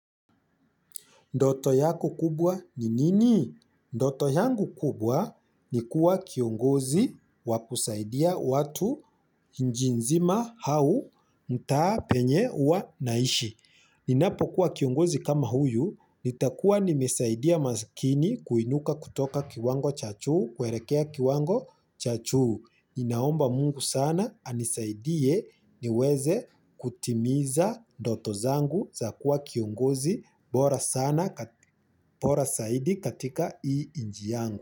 Ndoto yako kubwa ni nini? Ndoto yangu kubwa ni kuwa kiongozi wakusaidia watu nji nzima hau mtaa penye uwa naishi. Ninapokuwa kiongozi kama huyu, nitakuwa nimesaidia maskini kuinuka kutoka kiwango cha chuu, kuerekea kiwango cha chuu. Ninaomba mungu sana anisaidie niweze kutimiza ndoto zangu za kuwa kiongozi bora saidi katika ii iji yangu.